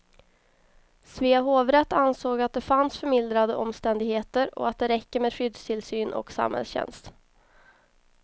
Svea hovrätt ansåg att det fanns förmildrande omständigheter och att det räcker med skyddstillsyn och samhällstjänst.